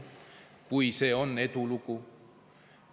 Kui see ikka on edulugu.